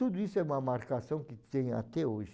Tudo isso é uma marcação que tem até hoje.